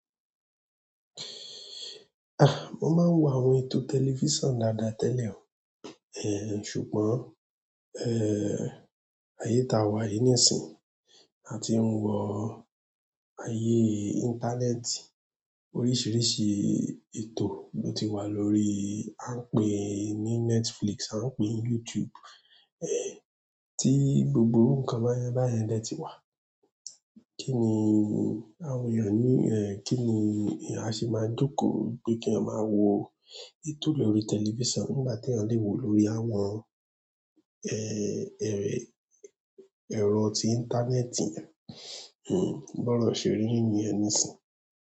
Ah mo máa ń wo àwọn ètò telifison dáadáa tẹlẹ o ṣùgbọ́n e, ayé ta wà yí nísìn a ti ń wọ ọ ayé íńtánẹ́ẹ̀tì, oríṣiríṣi ètò ló ti wà lórí, a ń pè é ní Netflix, a ń pè é ní YouTube, eh, tí gbogbo nǹkan bayẹn bayẹn dẹ́ ti wà. Kíni èèyàn a ṣe máa joko pé keeyan máa wo ètò lórí telifison nígbà tí èèyàn lè wo lórí àwọn ẹrọ tí íńtánẹ́ẹ̀tì, bọrọ ṣe rí niyẹn nísìn.